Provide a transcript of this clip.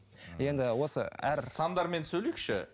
енді осы әр сандармен сөйлейікші